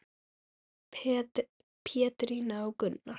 Pétrína og Gunnar.